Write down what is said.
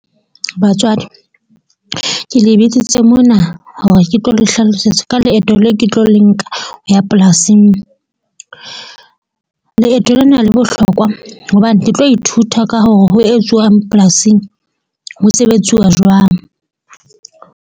Batswadi ke le bitsitse mona hore ke tlo le hlalosetsa ka leeto le ke tlo le nka ho ya polasing. Leeto lena le bohlokwa hobane ke tlo ithuta ka hore ho etsuwang polasing. Ho sebetsuwa jwang.